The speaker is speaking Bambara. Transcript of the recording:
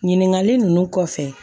Ɲininkali ninnu kɔfɛ